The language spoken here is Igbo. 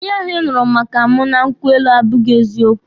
Ihe ahụ ị nụrụ maka mụ na nkwụ elu abụghị eziokwu.